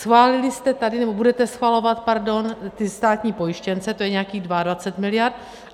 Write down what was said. Schválili jste tady, nebo budete schvalovat, pardon, ty státní pojištěnce, to je nějakých 22 miliard.